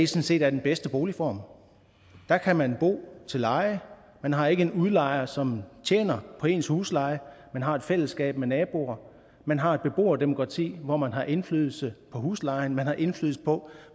set er den bedste boligform der kan man bo til leje man har ikke en udlejer som tjener på ens husleje man har et fællesskab med naboer man har et beboerdemokrati hvor man har indflydelse på huslejen og man har indflydelse på